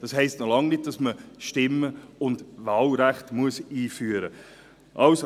Das heisst noch lange nicht, dass man das Stimm- und Wahlrecht einführen muss.